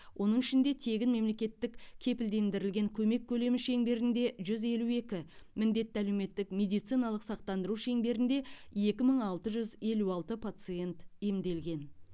оның ішінде тегін мемлекеттік кепілдендірілген көмек көлемі шеңберінде жүз елу екі міндетті әлеуметтік медициналық сақтандыру шеңберінде екі мың алты жүз елу алты пациент емделген